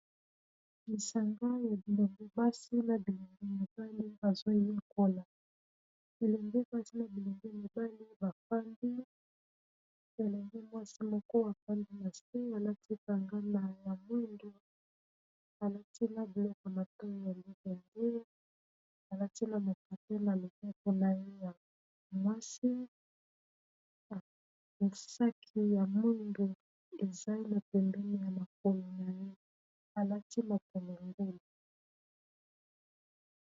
lisanga ya bilonge basi na bilonge mibali bazoyikola bilenge basi na bilenge mibali bafandi elenge mwasi moko bafandi na spri alati kangana ya mwindo alati na biloko na to ya mibendee alati na mokate na lobepo na ye ya mwasi esaki ya mwindo ezai na pembene ya makolo na ye alati mokemengelo